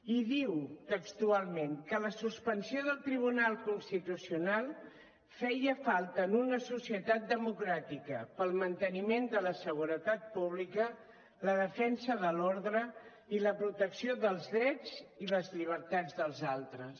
i diu textualment que la suspensió del tribunal constitucional feia falta en una societat democràtica per al manteniment de la seguretat pública la defensa de l’ordre i la protecció dels drets i les llibertats dels altres